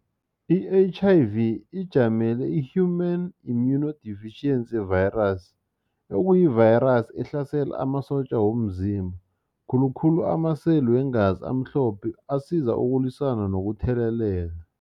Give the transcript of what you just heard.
I-H_I_V ijamele i-Human Immunodeficiency Virus okuyi-virus ehlasela amasotja womzimba khulukhulu amaseli weengazi amhlophe asiza ukulwisana nokutheleleka.